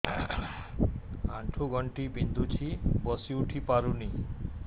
ଆଣ୍ଠୁ ଗଣ୍ଠି ବିନ୍ଧୁଛି ବସିଉଠି ପାରୁନି